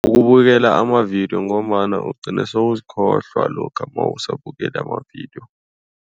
Ukubukela amavidiyo ngombana ugcine sewuzikhohlwa lokha nawusabukele amavidiyo.